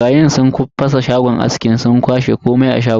Barayin sun fasa shagon askin sun kwashe komai a shagon.